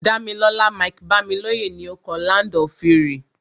Dámilọ́lá Mike-Bámilóyè ni o kọ "Land of Fury".